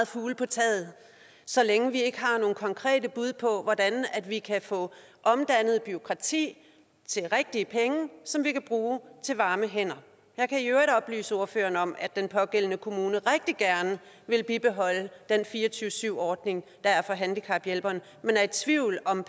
fugle på taget så længe vi ikke har nogen konkrete bud på hvordan vi kan få omdannet bureaukrati til rigtige penge som vi kan bruge til varme hænder jeg kan i øvrigt oplyse ordføreren om at den pågældende kommune rigtig gerne vil bibeholde den fire og tyve syv ordning der er for handicaphjælperen men er i tvivl om